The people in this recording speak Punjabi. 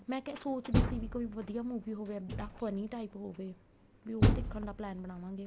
ਮੈਂ ਕਿਆ ਸੋਚਦੀ ਸੀ ਵੀ ਕੋਈ ਵਧੀਆ movie ਹੋਵੇ ਇੱਦਾਂ funny type ਹੋਵੇ ਵੀ ਉਹ ਦੇਖਣ ਦਾ plan ਬਣਾਵਾਗੇ